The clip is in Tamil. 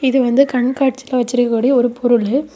இது வந்து கண் காட்சியில வச்சிருக்க கூடிய ஒரு பொருளு.